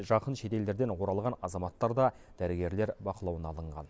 жақын шетелдерден оралған азаматтар да дәрігерлер бақылауына алынған